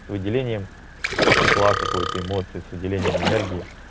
с выделением тепла какую-то эмоцию выделением энергии